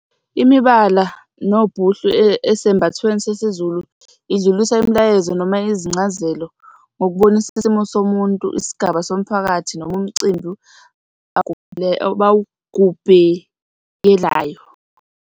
Imibala nobhuhlu esembathweni sesiZulu idlulisa imilayezo noma izincazelo ngokubonisa isimo somuntu, isigaba somphakathi noma umcimbi bawugubhekelayo.